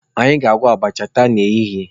Anyị ga-agwọ abacha taa n'ehihie.